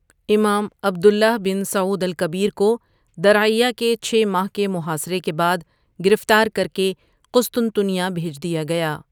امام Abdullah bin Saud Al Kabir کو Diriyah کے چھ ماہ کے محاصرے کے بعد گرفتار کر کے قسطنطنیہ بھیج دیا گیا۔